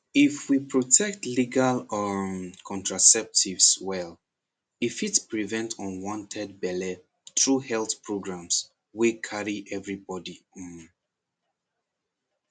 if we protect legal um contraceptives well e fit prevent unwanted belle through health programs wey carry everybody um